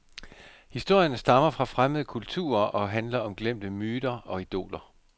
Historierne stammer fra fremmede kulturer og handler om glemte myter og idoler.